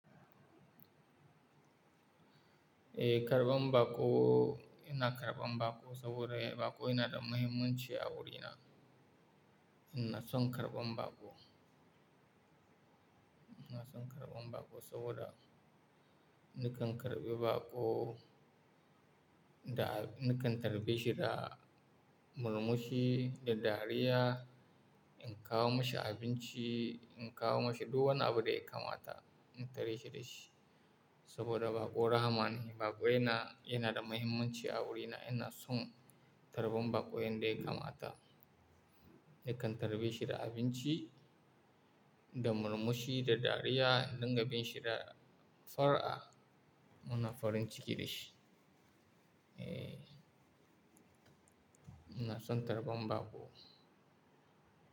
Eh, karɓan baƙo, ina karɓan baƙo saboda baƙo yana da mahimmanci a wurina. Ina son karɓan baƙo. Ina son karɓan baƙo saboda nakan karɓi baƙo da, nakan tarbe shi da murmushi da dariya. In kawo mashi abinci, in kawo mashi duk wani abu da ya kamata, in tare shi da shi. Saboda baƙo rahman, baƙo yana, yana da mahimmanci a wurina. Ina son karɓan baƙo yanda ya kamata. Nakan tarbe shi da abinci da murmushi da dariya, in dinga bin shi da fara'a muna farin ciki da shi. Eh, ina son karɓan baƙo.